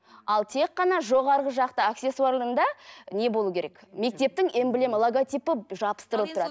ал тек қана жоғарғы жақта аксессуарында не болу керек мектептің эмблема логотипі жабыстырылып тұрады